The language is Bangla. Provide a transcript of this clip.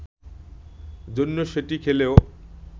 জন্য সেটি খেলেও